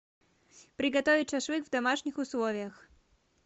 приготовить шашлык в домашних условиях